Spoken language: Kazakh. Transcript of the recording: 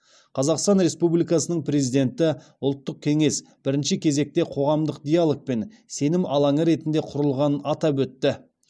қазақстан республикасының президенті ұлттық кеңес бірінші кезекте қоғамдық диалог пен сенім алаңы ретінде құрылғанын атап өтті